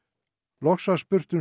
loks var spurt um